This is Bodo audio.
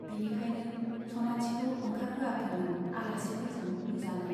बिनिखायनो सनाथिखौ ओंखारहोआखैमोन, आलासिफोरजों नुजानो।